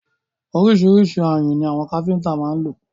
Ọríṣiríṣi ayùn ni àwọn káfíńńtà má ń lò.